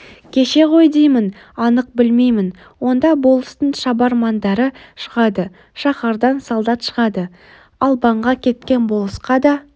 кеше ғой деймін анық білмеймін онда болыстың шабармандары шығады шаһардан солдат шығады албанға кеткен болысқа да